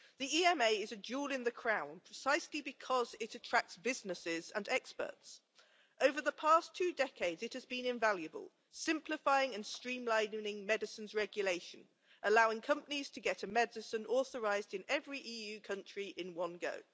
The EMA is a jewel in the crown, precisely because it attracts businesses and experts. Over the past two decades, it has been invaluable, simplifying and streamlining medicines regulation, allowing companies to get a medicine authorised in every EU country in one go.